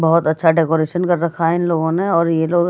बहुत अच्छा डेकोरेशन कर रखा है इन लोगों ने और ये लोग --